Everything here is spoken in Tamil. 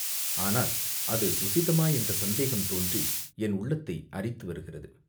ஆனால் அது உசிதமா என்ற சந்தேகம் தோன்றி என் உள்ளத்தை அரித்து வருகிறது.